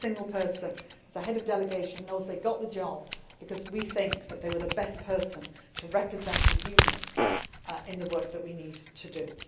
on merit. Every single person who is a head of delegation knows they got the job because we think that they were the best person to represent the Union in the work that we